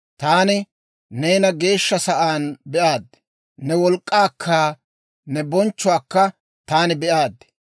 Taani neena geeshsha sa'aan be'aad; ne wolk'k'aakka ne bonchchuwaakka taani be"aad.